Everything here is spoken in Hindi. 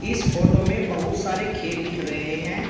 इस फोटो में बहुत सारे खेत दिख रहे हैं।